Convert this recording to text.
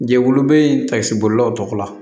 Jɛkulu bɛ takisi bolilaw tɔgɔ la